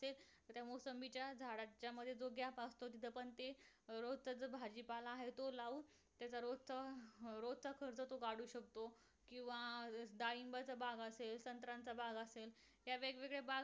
ते मोसंबीच्या झाडाच्या मध्ये दोघे असतो तिथं पण ते अं रोज त्यांचं भाजी पाला हाय तो लावून त्याचा रोजचा अं रोजचा खर्च तो काढू शकतो किंवा डाळिंब च्या बागा असेल संत्राच्या बागा असेल ह्या वेगवेगळ्या बाग